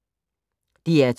DR2